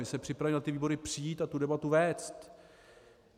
My se připravíme na ty výbory přijít a tu debatu vést.